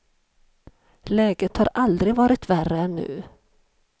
Läget har aldrig varit värre än nu.